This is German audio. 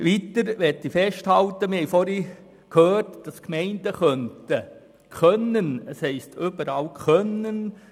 Weiter möchte ich festhalten, dass die Gemeinden weitergehende Vorschriften erlassen können;